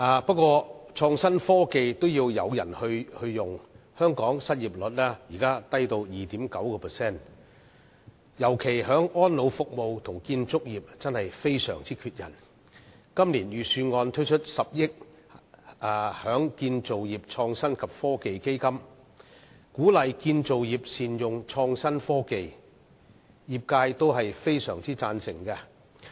不過，創新科技也需要有人運用，香港的失業率現時低至 2.9%， 特別是安老服務和建造業也相當缺人，今年的預算案推出10億元成立建造業創新及科技基金，鼓勵建造業善用創新科技，業界也相當贊成。